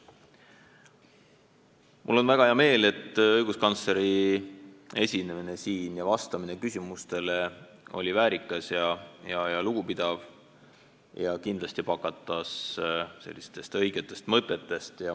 Mul on väga hea meel, et õiguskantsleri esinemine siin ja vastamine küsimustele oli väärikas ja lugupidav ja kindlasti pakatas õigetest mõtetest.